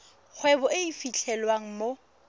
kgwebo e e fitlhelwang mo